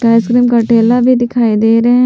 ice cream का ठेला भी दिखाई दे रहे--